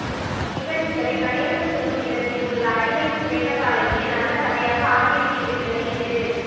நிகழ்ச்சிகளை கணேசன் சொல்லும் விதத்தில் உள்ள அடிவயிற்று வேகத்தாலேயே நல்ல கதையாக ஆகிவிட்டிருக்கிறது இது